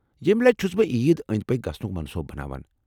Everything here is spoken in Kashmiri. ییٚمہ لٹہِ چُھس بہٕ عیز اندۍ پكۍ گژھنُك منصوٗبہٕ بناوان ۔